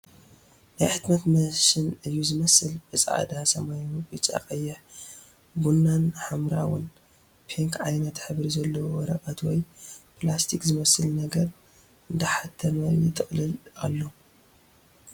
ናይ ሕትመት መሽን እዩ ዝመስል ብ ፃዕዳ ፣ ሰማያዊ ፣ ብጫ ፣ ቐይሕ ፣ ቡና ን ሓምራዊን/ፒንክ/ ዓይነታት ሕብሪ ዘለዎ ወረቐት ወይ ፕላስቲክ ዝመስል ነገር እንዳሓተመ ይጥቕልል ኣሎ ።